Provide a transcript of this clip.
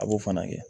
A b'o fana kɛ